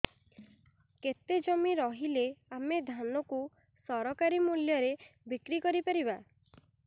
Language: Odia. କେତେ ଜମି ରହିଲେ ଆମେ ଧାନ କୁ ସରକାରୀ ମୂଲ୍ଯରେ ବିକ୍ରି କରିପାରିବା